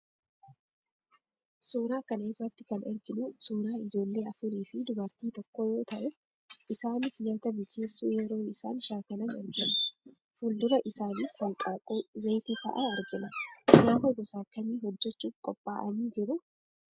Suuraa kana irratti kana arginu suuraa ijoollee afurii fi dubartii tokkoo yoo ta'u, isaanis nyaata bilcheessuu yeroo isaan shaakalan argina. Fuuldura isaanis: hanqaaquu, zayitii fa'a argina. Nyaata gosa akkamii hojjechuuf qophaa'anii jiru?